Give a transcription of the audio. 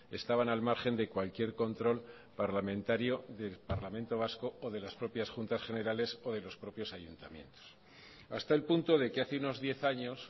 estaban al margen de cualquier control parlamentario del parlamento vasco o de las propias juntas generales o de los propios ayuntamientos hasta el punto de que hace unos diez años